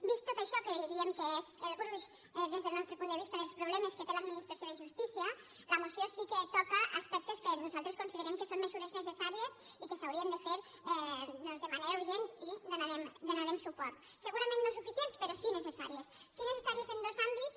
vist tot això que diríem que és el gruix des del nostre punt de vista dels problemes que té l’administració de justícia la moció sí que toca aspectes que nosaltres considerem que són mesures necessàries i que s’haurien de fer doncs de manera urgent i hi donarem suport segurament no suficients però sí que necessàries sí que necessàries en dos àmbits